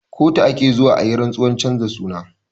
Kotu ake zuwa ayi rantsuwar canza suna